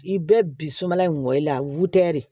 I bɛ bi suman in gɔ i la wɛri de